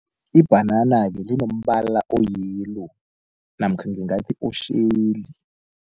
Ibhanana-ke linombala o-yellow namkha ngingathi otjheli.